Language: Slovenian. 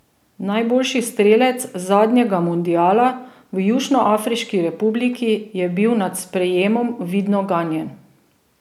Najboljši strelec zadnjega mundiala v Južnoafriški republiki je bil nad sprejemom vidno ganjen.